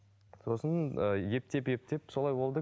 сосын ыыы ептеп ептеп солай болды